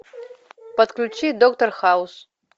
подключи доктор хаус